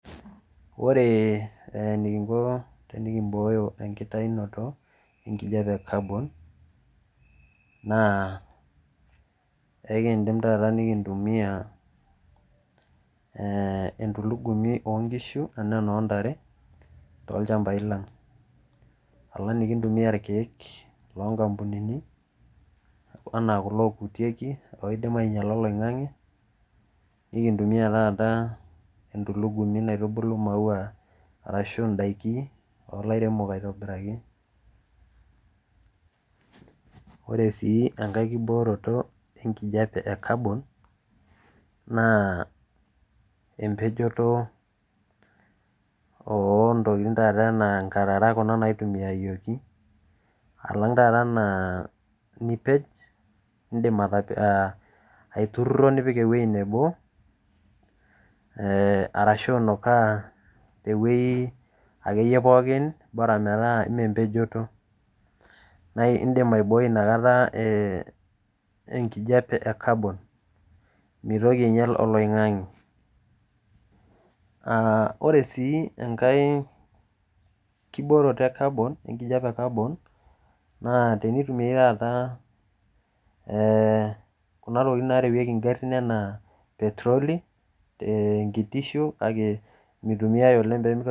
Ore enikinko pee kiboyo enkitayunoto enkijape e caron] enkidim taata nikintumiya entulugumi oo nkishu anaa enoo ntare toolchambai lang' alang nikintumia ilkeek loo nkampunini anaa kulo okutieki loidim ainyiala oloing'ang'e nintumia taata entulugumi naitumbulu maua arashu indaiki oo lairemok aitobiraki ore sii enkae kibooroto enkijape e carbon naa empejoto oo ntokin naijo enkarara naitumiayioki alang taata nipej indim aitururo nipik ewueji nebo arashu inukaa akeyie te wueji akeyie pooki bora metal ime empejoto naa indim aiboi enakata enkijape e carbon meitoki ainyal oloing'ang'e ore sii ekae kibooroto ekijape e carbon naa teitumiae taa kuna tokitin narewueki ingarin kake I itemise oleng